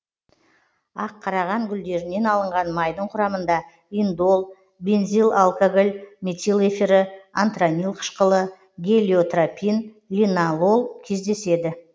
аққараған гүлдерінен алынған майдың құрамында индол бензилалкоголь метил эфирі антранил қышқылы гелиотропин линалол кездеседі